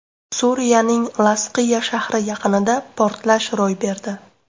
Suriyaning Lazqiya shahri yaqinida portlash ro‘y berdi.